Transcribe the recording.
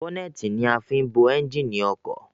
Bọ́nẹ́ẹ́tì ni a fin ń bo ẹnjìnì ọkọ̀